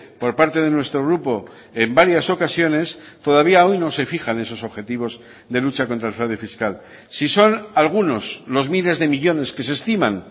por parte de nuestro grupo en varias ocasiones todavía hoy no se fijan esos objetivos de lucha contra el fraude fiscal si son algunos los miles de millónes que se estiman